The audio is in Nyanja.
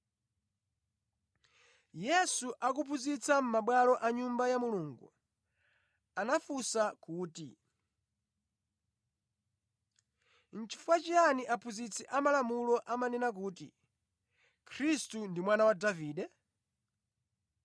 Yesu akuphunzitsa mʼmabwalo a Nyumba ya Mulungu, anafunsa kuti, “Nʼchifukwa chiyani aphunzitsi amalamulo amanena kuti, ‘Khristu ndi Mwana wa Davide?’